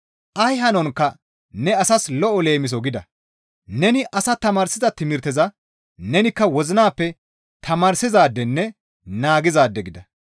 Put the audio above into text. Ay hanonkka ne asas lo7o leemiso gida; neni asaa tamaarsiza timirteza nenikka wozinappe tamaarsizaadenne naagizaade gida.